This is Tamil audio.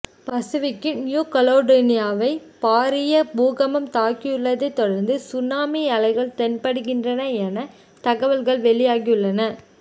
பசுவிக்கின் நியுகலடோனியாவை பாரிய பூகம்பம் தாக்கியுள்ளதை தொடர்ந்து சுனாமி அலைகள் தென்படுகின்றன என தகவல்கள் வெளியாகியுள்ளன